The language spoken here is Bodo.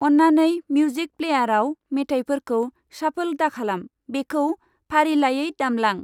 अन्नानै मिउजिक प्लेयाराव मेथाइफोरखौ शाफल दाखालाम, बेखौ फारिलाइयै दामलांI